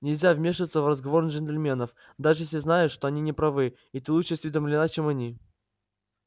нельзя вмешиваться в разговор джентльменов даже если знаешь что они не правы и ты лучше осведомлена чем они